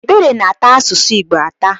Ebere na-ata asụsụ Igbo atà.